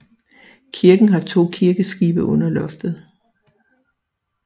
Kirken har to kirkeskibe under loftet